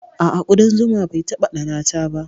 A'a, kuɗan zuma bai taɓa ɗannata ba.